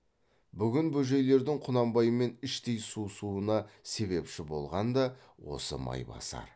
бүгін бөжейлердің құнанбаймен іштей суысуына себепші болған да осы майбасар